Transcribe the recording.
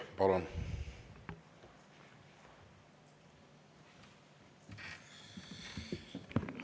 Palun!